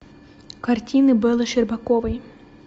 картины беллы щербаковой